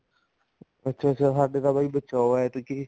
ਅੱਛਾ ਅੱਛਾ ਸਾਡੇ ਤਾਂ ਬਚਾ ਹੈ ਐਤਕੀ